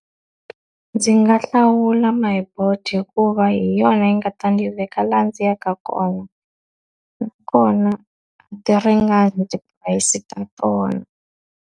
Ndzi nga hlawula My Boet hikuva hi yona yi nga ta ni veka laha ndzi yaka kona, nakona a ti ringani ti-price ta tona.